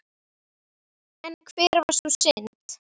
En hver var sú synd?